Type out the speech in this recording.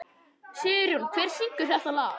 Sigurjón, hver syngur þetta lag?